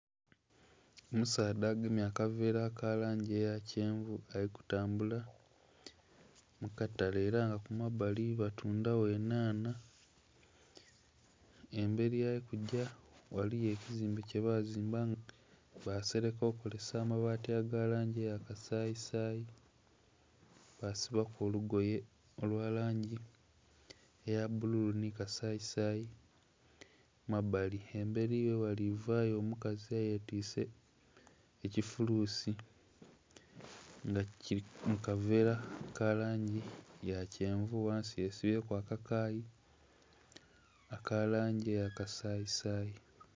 Omusaadha agemye akavera langi eya kyenvu ali ku tambula mukatale era nga kumbali batundhagho enhanha. Emberi yali kugya ghaliyo ekizimbe kye bazimba basereka kozesa amabati aga langi eya kasayi sayi basibaku olugoye olya langi eya kasayi sayi mumbali. Emberi ghalivayo omukazi eye twise ekifulusi nga kili mukavera ka kyenvu ghansi yesibye ku akakayi akalangi aya kasayi sayi.